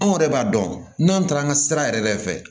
Anw yɛrɛ b'a dɔn n'an taara an ka sira yɛrɛ fɛ